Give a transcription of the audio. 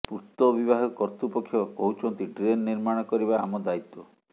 ପୂର୍ତ୍ତ ବିଭାଗ କର୍ତ୍ତୃପକ୍ଷ କହୁଛନ୍ତି ଡ୍ରେନ୍ ନିର୍ମାଣ କରିବା ଆମ ଦାୟିତ୍ୱ